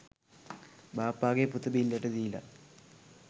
බාප්පගෙ පුත බිල්ලට දීල